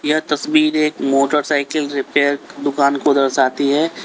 क्या तस्वीर एक मोटरसाइकिल रिपेयर दुकान को दर्शाती है।